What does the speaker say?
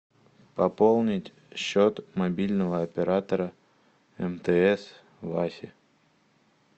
пополнить счет мобильного оператора мтс васе